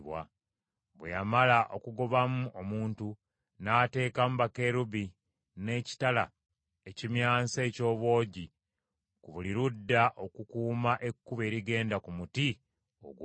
Bwe yamala okugobamu omuntu, n’ateekamu Bakerubi n’ekitala ekimyansa eky’obwogi ku buli ludda okukuuma ekkubo erigenda ku muti ogw’obulamu.